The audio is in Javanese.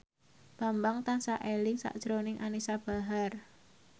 Bambang tansah eling sakjroning Anisa Bahar